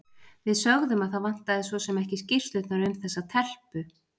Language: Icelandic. Við sögðum að það vantaði svo sem ekki skýrslurnar um þessa telpu.